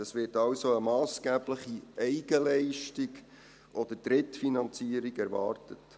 Es wird also eine massgebliche Eigenleistung oder Drittfinanzierung erwartet.